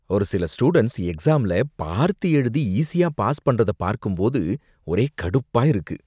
ஒரு சில ஸ்டூடண்ட்ஸ் எக்ஸாம்ல பார்த்து எழுதி ஈசியா பாஸ் பண்றத பார்க்கும் போது ஒரே கடுப்பா இருக்கு